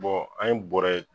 an ye bɔrɛ